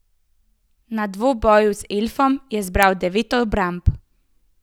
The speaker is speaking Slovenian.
Na dvoboju z elfom je zbral devet obramb.